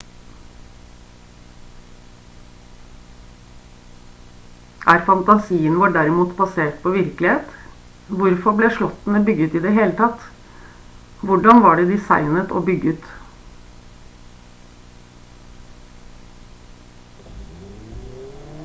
er fantasien vår derimot basert på virkelighet hvorfor ble slottene bygget i det hele tatt hvordan var de designet og bygget